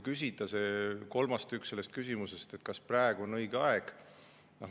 Kolmas osa sellest küsimusest oli see, kas praegu on õige aeg.